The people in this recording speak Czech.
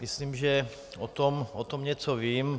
Myslím, že o tom něco vím.